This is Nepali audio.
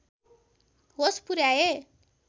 होस पुर्‍याए